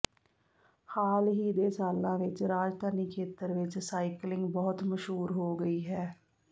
ਹਾਲ ਹੀ ਦੇ ਸਾਲਾਂ ਵਿੱਚ ਰਾਜਧਾਨੀ ਖੇਤਰ ਵਿੱਚ ਸਾਈਕਲਿੰਗ ਬਹੁਤ ਮਸ਼ਹੂਰ ਹੋ ਗਈ ਹੈ